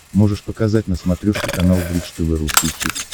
можешь показать на смотрешке канал бридж тв русский хит